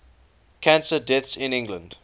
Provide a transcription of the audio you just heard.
cancer deaths in england